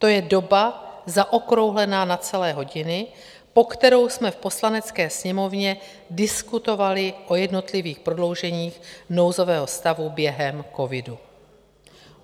To je doba zaokrouhlená na celé hodiny, po kterou jsme v Poslanecké sněmovně diskutovali o jednotlivých prodlouženích nouzového stavu během covidu.